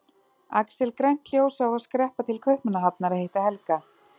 Axel grænt ljós á að skreppa til Kaupmannahafnar að hitta Helga.